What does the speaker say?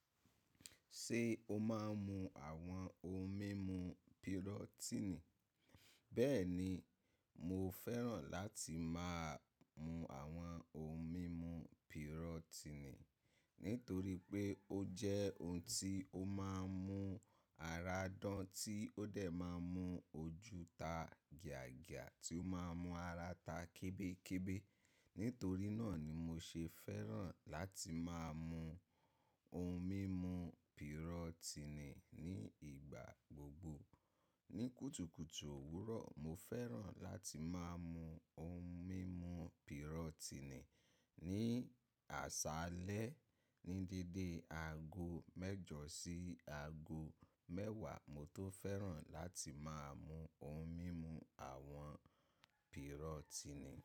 Ṣé o máa ń mu àwọn ohun mímu pirotini? Bẹ́ẹ̀ni, mo fẹ́ràn láti máa mu àwọn ohun mímu pirotini nítorí pé ó jẹ́ ohun tí ó máa ń mú ara dán, tí ó dẹ̀ máa ń mú ojú ta gìyàgìyà, tí ó máa ń mú ara ta kébékébé. Nítorí náà ni mo ṣe fẹ́ràn láti máa mu ohun mímu pirotini ní ìgbà gbogbo. Ni kùtùkùtù òwúrọ̀, mo fẹ́ràn láti máa mu ohun mímu pirotini. Ni àṣálẹ́ ní dédé aago mẹ́jọ sí aago mẹ́wàá, mo tó fẹ́ràn láti máa mu ohun mímu àwọn pirotini.